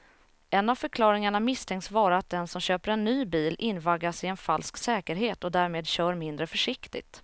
En av förklaringarna misstänks vara att den som köper en ny bil invaggas i en falsk säkerhet och därmed kör mindre försiktigt.